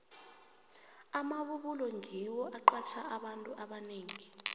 amabubulo ngiwo aqatjha abantu abanengi